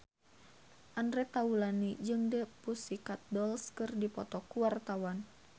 Andre Taulany jeung The Pussycat Dolls keur dipoto ku wartawan